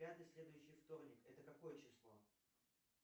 пятый следующий вторник это какое число